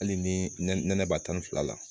Hali ni nɛnɛ nɛnɛ b'a tan ni fila la